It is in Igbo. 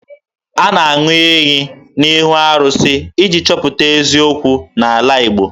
A na-aṅụ iyi n'ihu arụsị iji chọpụta eziokwu n'ala Igbo